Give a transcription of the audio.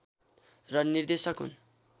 र निर्देशक हुन्